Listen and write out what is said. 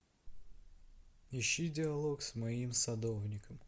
ищи диалог с моим садовником